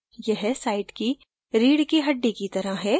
यह site की रीढ की हड्डी की तरह है